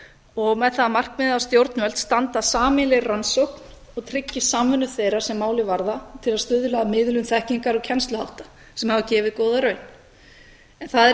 og með það að markmiði að stjórnvöld standi að sameiginlegri rannsókn og tryggi samvinnu þeirra sem málið varðar til að stuðla að miðlun þekkingar og kennsluhátta sem hafa gefið góða raun en það er